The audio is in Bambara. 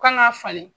Kan ka falen